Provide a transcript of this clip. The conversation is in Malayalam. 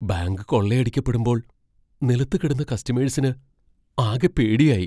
ബാങ്ക് കൊള്ളയടിക്കപ്പെടുമ്പോൾ നിലത്തു കിടന്ന കസ്റ്റമേഴ്സിന് ആകെ പേടിയായി .